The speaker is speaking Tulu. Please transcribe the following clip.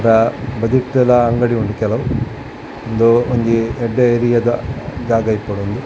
ಕಾ ಬದುಕ್ಕುದ ಅಂಗಡಿ ಉಂಡು ಕೆಲವು ಉಂದು ಒಂಜಿ ಎಡ್ಡೆ ಏರಿಯಾದ ಜಾಗ ಇಪ್ಪೊಡು ಉಂದ್.